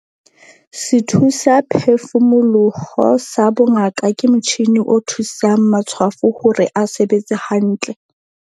Sethusaphefumoloho sa bongaka ke motjhine o thusang matshwafo hore a sebetse hantle.